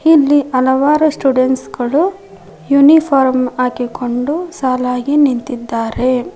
ಇಲ್ಲಿ ಹಲವಾರು ಸ್ಟೂಡೆಂಟ್ಸ್ ಗಳು ಯುನಿಫಾರ್ಮ್ ಹಾಕಿಕೊಂಡು ಸಾಲಾಗಿ ನಿಂತಿದ್ದಾರೆ.